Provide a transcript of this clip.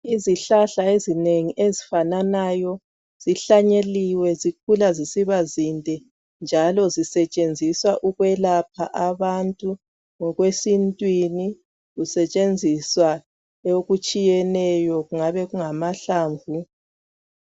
Izihlahla ezinengi ezifananayo zihlanyeliwe zikhula zisiba zinde, njalo zisetshenziswa ukwelapha abantu ngokwe sintwini, kusetshenziswa okutshiyeneyo kungaba kungamahlamvu.